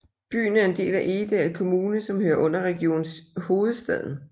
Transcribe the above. Byen er en del af Egedal Kommune som hører under Region Hovedstaden